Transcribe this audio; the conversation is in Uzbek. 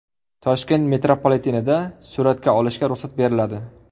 Toshkent metropolitenida suratga olishga ruxsat beriladi .